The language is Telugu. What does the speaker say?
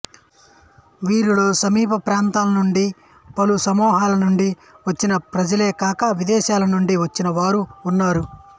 వీరిలో సమీప ప్రాంతాలనుండి పలు సమూహాల నుండి వచ్చిన ప్రజలేకాక విదేశాల నుండి వచ్చినవారూ ఉన్నారు